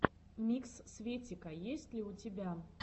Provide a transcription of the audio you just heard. микс светика есть ли у тебя